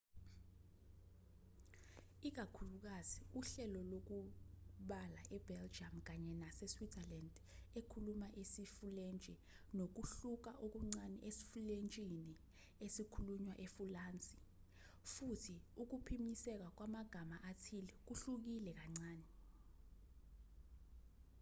ikakhulukazi uhlelo lokubala e-belgium kanye nase-switzerland ekhuluma isifulentshi nokuhluka okuncane esifulentshini esikhulunywa efulansi futhi ukuphinyiselwa kwamagama athile kuhlukile kancane